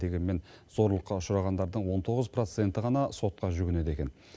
дегенмен зорлыққа ұшырағандардың он тоғыз проценті ғана сотқа жүгінеді екен